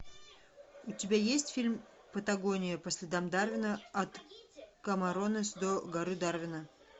у тебя есть фильм патагония по следам дарвина от камаронес до горы дарвина